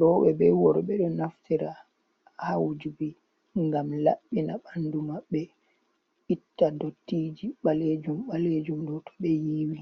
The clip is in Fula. roɓe be worɓe ɗo naftira ha wujuki ngam laɓɓina ɓandu maɓɓe, itta dottiji balejum balejum ɗo to ɓe yiwi.